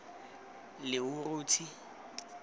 lehurutshe